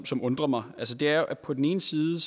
som undrer mig det er jo at på den ene side